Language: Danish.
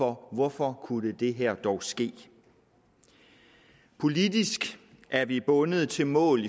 hvorfor det her dog kunne ske politisk er vi bundet til mål